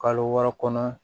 Kalo wɔɔrɔ kɔnɔ